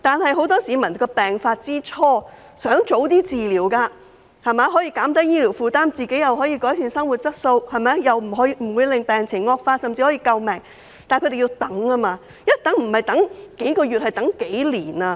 很多市民在病發之初已希望能及早治療，這樣不但可以減低醫療負擔，亦可以改善生活質素，防止病情惡化，甚至可以救命，但他們卻要一直等待，不是等待幾個月，而是幾年。